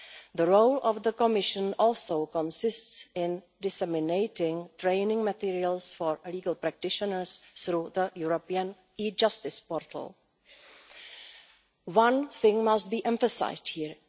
The role of the Commission also consists of disseminating training materials for legal practitioners through the European e Justice portal. One thing must be emphasised here.